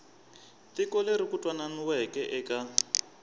tiko leri ku twananiweke eka